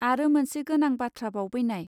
आरो मोनसे गोनां बाथ्राबाव बैनाय